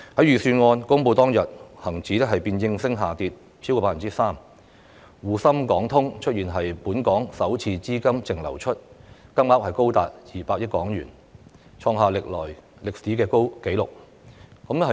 預算案公布當天，恒生指數便應聲下跌超過 3%， 滬港通和深港通出現本年首次資金淨流出，金額高達200億港元，創下歷史紀錄。